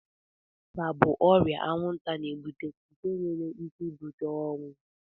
ịba bụ ọrịa anwụnta na-ebute nke nwere ike ibute ọnwụ